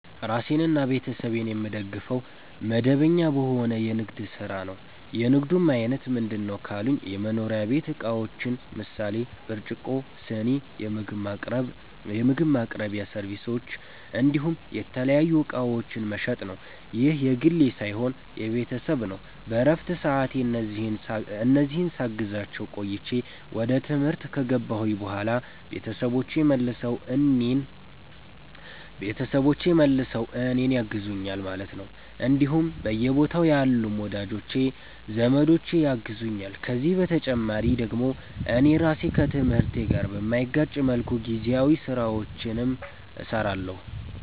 ራሴንና ቤተሰቤን የምደግፈዉ፦ መደበኛ በሆነ የንግድ ስራ ነዉ። የንግዱም አይነት ምንድነዉ ካሉኝ የመኖሪያ ቤት እቃዎችን ምሳሌ፦ ብርጭቆ, ስኒ, የምግብ ማቅረቢያ ሰርቪሶች እንዲሁም የተለያዩ እቃዎችን መሸጥ ነዉ። ይህ የግሌ ሳይሆን የቤተሰብ ነዉ በረፍት ሰዓቴ እነዚህን ሳግዛቸዉ ቆይቼ ወደ ትምህርት ከገባሁኝ በኋላ ቤተሰቦቼ መልሰዉ እኔን ያግዙኛል ማለት ነዉ እንዲሁም በየቦታዉ ያሉም ወዳጅ ዘመዶቼ ያግዙኛል ከዚህ በተጨማሪ ደግሞ እኔ ራሴ ከትምህርቴ ጋር በማይጋጭ መልኩ ጊዜያዊ ስራዎችንም ሰራለሁኝ